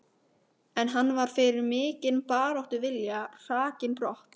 En hann var fyrir mikinn baráttuvilja hrakinn brott.